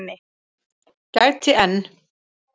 gæti enn.